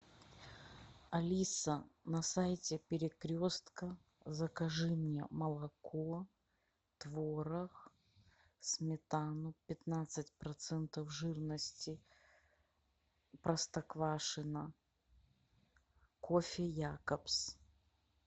алиса на сайте перекрестка закажи мне молоко творог сметану пятнадцать процентов жирности простоквашино кофе якобс